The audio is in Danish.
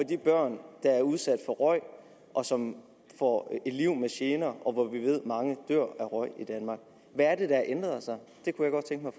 de børn der er udsat for røg og som får et liv med gener og hvor vi ved at mange dør af røg i danmark hvad er det der har ændret sig det kunne